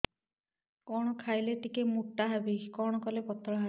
କଣ ଖାଇଲେ ଟିକେ ମୁଟା ହେବି କଣ କଲେ ପତଳା ହେବି